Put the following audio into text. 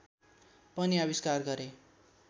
पनि आविष्कार गरे